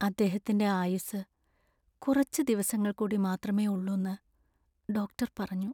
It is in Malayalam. അദ്ദേഹത്തിന്‍റെ ആയുസ്സ് കുറച്ച് ദിവസങ്ങൾ കൂടി മാത്രമേ ഉള്ളൂന്ന് ഡോക്ടർ പറഞ്ഞു.